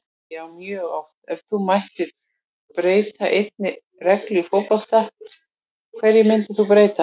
Já mjög oft Ef þú mættir breyta einni reglu í fótbolta, hverju myndir þú breyta?